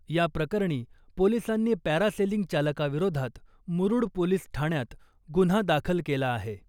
या प्रकरणी पोलिसांनी पॅरासेलिंग चालकाविरोधात मुरुड पोलीस ठाण्यात गुन्हा दाखल केला आहे .